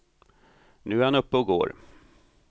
Nu är han uppe och går.